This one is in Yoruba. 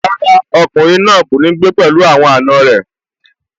Rárá, ọkùnrin náà kò ní gbé pẹ̀lú àwọn àna rẹ̀